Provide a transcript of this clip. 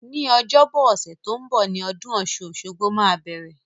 Ní ọjọ́bọ ọ̀sẹ̀ to n bo ni odún osun-osogbo máa bẹ̀rẹ̀